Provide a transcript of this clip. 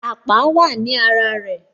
Àpá wá ní ara rẹ